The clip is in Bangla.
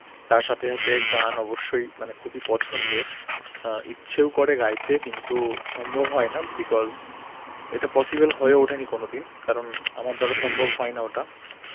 তার সাথে সাথে গান অবশ্যই মানে খুবই পছন্দের অ্যাঁ ইচ্ছেও করে গাইতে, কিন্তু সম্ভব হয় না Because এটা possible হয়ে ওঠেনি কোনদিন, কারণ আমার দ্বারা সম্ভব হয় না ওটা